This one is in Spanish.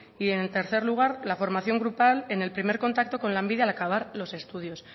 y en tercer lugar la formación grupal en el primer contacto con lanbide al acabar los estudios